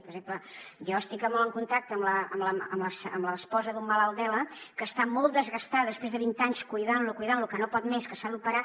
per exemple jo estic molt en contacte amb l’esposa d’un malalt d’ela que està molt desgastada després de vint anys cuidant lo que no pot més que s’ha d’operar